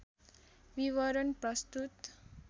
विवरण प्रस्तुत